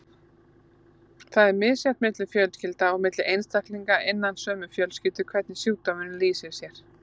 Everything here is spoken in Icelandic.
Það er misjafnt milli fjölskylda og milli einstaklinga innan sömu fjölskyldu hvernig sjúkdómurinn lýsir sér.